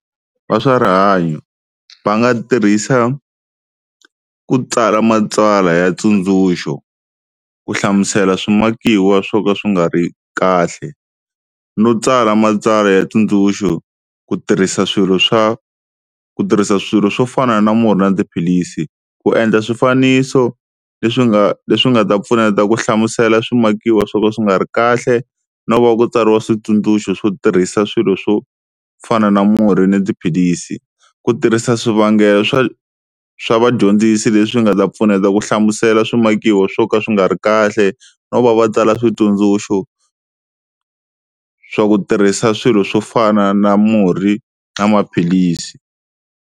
Va swa rihanyo va nga tirhisa ku tsala matsalwa ya ntsundzuxo ku hlamusela swimakiwa swo ka swi nga ri kahle no tsala matsalwa ya ntsundzuxo ku tirhisa swilo swa, ku tirhisa swilo swo fana na murhi na tiphilisi. Ku endla swifaniso leswi nga leswi nga ta pfuneta ku hlamusela swimakiwa swo ka swi nga ri kahle no va ku tsariwa switsundzuxo swo tirhisa swilo swo fana na murhi ni tiphilisi. Ku tirhisa swivangelo swa, swa vadyondzisi leswi nga ta pfuneta ku hlamusela swimakiwa swo ka swi nga ri kahle no va va tsala switsundzuxo swa ku tirhisa swilo swo fana na murhi na maphilisi.